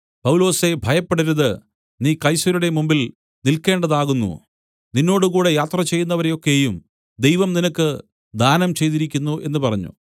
പൗലൊസേ ഭയപ്പെടരുത് നീ കൈസരുടെ മുമ്പിൽ നിൽക്കേണ്ടതാകുന്നു നിന്നോടുകൂടെ യാത്രചെയ്യുന്നവരെ ഒക്കെയും ദൈവം നിനക്ക് ദാനം ചെയ്തിരിക്കുന്നു എന്നു പറഞ്ഞു